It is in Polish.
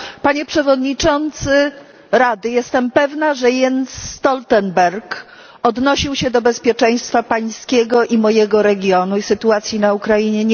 Panie Przewodniczący Rady, jestem pewna, że Jens Stoltenberg odnosił się do bezpieczeństwa Pańskiego i mojego regionu i sytuacji na Ukrainie.